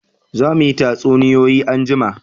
Za mu yi tatsuniyoyi anjima